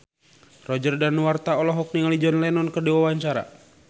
Roger Danuarta olohok ningali John Lennon keur diwawancara